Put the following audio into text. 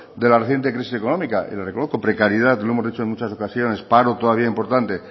de la reciente crisis económica y lo reconozco precariedad lo hemos dicho en muchas ocasiones paro todavía importante